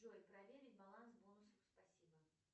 джой проверить баланс бонусов спасибо